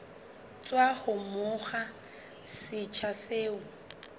tswa ho monga setsha seo